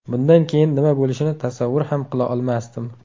Bundan keyin nima bo‘lishini tasavvur ham qila olmasdim.